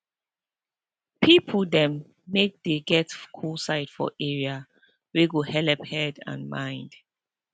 people dem make dey get cool side for area wey go helep head and mind